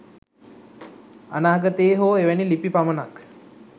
අනාගතයේ හෝ එවැනි ලිපි පමණක්